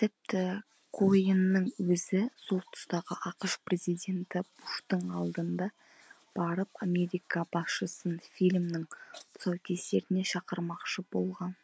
тіпті коэннің өзі сол тұстағы ақш президенті буштың алдында барып америка басшысын фильмнің тұсаукесеріне шақырмақшы болған